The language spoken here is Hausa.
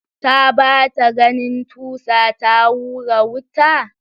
Ta ɓata ganin tusa ta hura wuta?